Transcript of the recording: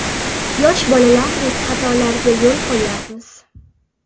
Yosh bolalardek xatolarga yo‘l qo‘yyapmiz.